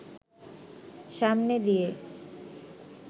সামনে দিয়ে